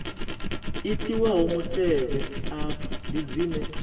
itiwaho mutevhe afha ndi dzine